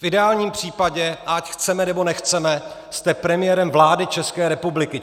V ideálním případě, ať chceme, nebo nechceme, jste premiérem vlády České republiky.